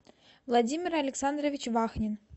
владимир александрович вахнин